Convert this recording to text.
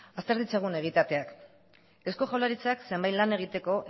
azter ditzagun egitateak eusko jaurlaritzak zenbait lan egiteko